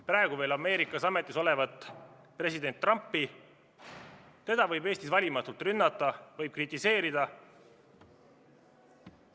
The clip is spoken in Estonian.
Praegu veel Ameerikas ametis olevat president Trumpi võib Eestis valimatult rünnata, võib kritiseerida.